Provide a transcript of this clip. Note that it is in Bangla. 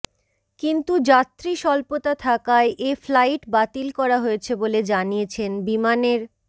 কিন্তু যাত্রী স্বল্পতা থাকায় এ ফ্লাইট বাতিল করা হয়েছে বলে জানিয়েছেন বিমানের